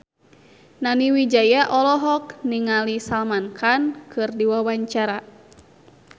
Nani Wijaya olohok ningali Salman Khan keur diwawancara